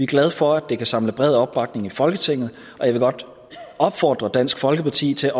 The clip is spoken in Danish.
glade for at det kan samle bred opbakning i folketinget og jeg vil godt opfordre dansk folkeparti til